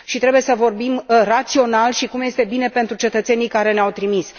Trebuie să vorbim rațional și cum este bine pentru cetățenii care ne au trimis.